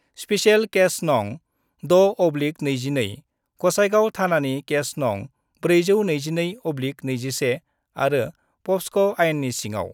Special case नं. 6/22, गसाइगाव थानानि case नं . 422/21 आरो पक्स' आइननि सिङाव।